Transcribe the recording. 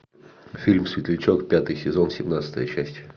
фильм светлячок пятый сезон семнадцатая часть